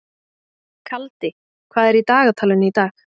Kaldi, hvað er í dagatalinu í dag?